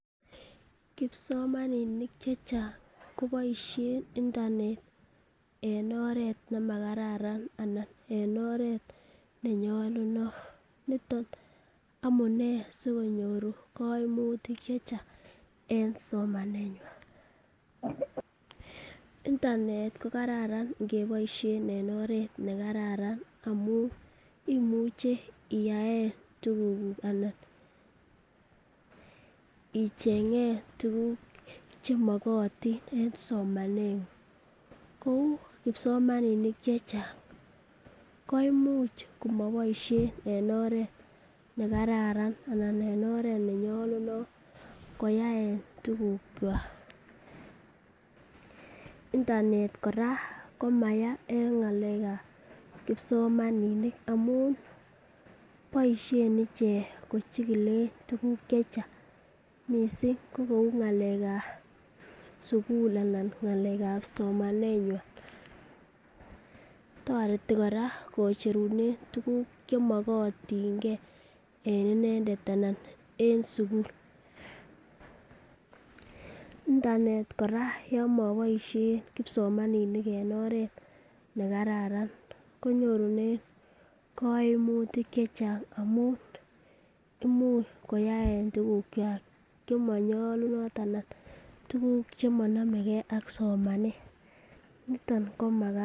Kipsomaninik che chang koboisien internet en oret nemakararan ana en oret nemanyolunot niton amunee sikonyoru koimutik che chang en somanenywan. internet ko kararan ingeboisien en oret ne kararan amun imuche iyaen tugukuk anan icheng'en tuguk che mogotin en somaneng'ung kou kipsomaninik che chang koimuch komoboisien en oret nemakararan anan en oret nenyolunot koyaen tugukywak. internet kora koma yaa en ngalekab kipsomaninik amun boisien ichek kochikilen tuguk che chang misng ko kou ngalekab sugul anan kou ngalekab somanenywan. Toreti kora kocherunen tuguk chemokotin ge en inendet anan en sugul. internet kora yon mobosien kipsomaninik en oret ne kararan konyorunen koimutik che chang amun imuch koyae tuguk kwak chemonyolunot ana koyae tuguk che monome ke ak somanet. Niton komakararan.